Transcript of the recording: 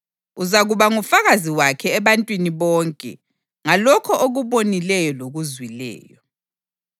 Uzakuba ngufakazi wakhe ebantwini bonke ngalokho okubonileyo lokuzwileyo.